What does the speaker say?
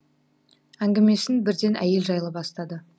әңгімесін бірден әйел жайлы бастады